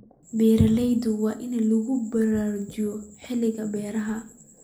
Beeralayda waa in lagu baraarujiyaa xilliyada beeraha.